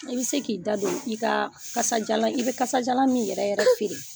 I bi se k'i da don i ka ikasajalan i bɛ kasajalan min yɛrɛ yɛrɛ feere